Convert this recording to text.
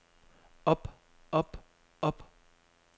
op op op